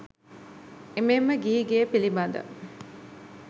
එමෙන්ම ගිහි ගෙය පිළිබඳ